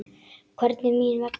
Hvernig mín vegna?